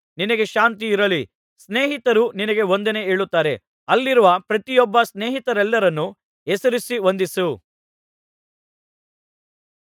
ನಿನಗೆ ಶಾಂತಿ ಇರಲಿ ಸ್ನೇಹಿತರು ನಿನಗೆ ವಂದನೆ ಹೇಳುತ್ತಾರೆ ಅಲ್ಲಿರುವ ಪ್ರತಿಯೊಬ್ಬ ಸ್ನೇಹಿತರೆಲ್ಲರನ್ನೂ ಹೆಸರಿಸಿ ವಂದಿಸು